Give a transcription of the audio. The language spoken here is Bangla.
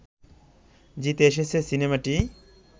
জিতে এসেছে সিনেমাটি